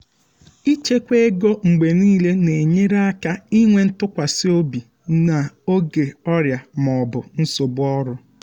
ịchekwa ego mgbe niile na-enyere aka inwe ntụkwasị obi n'oge ọrịa ma ọ bụ nsogbu ọrụ.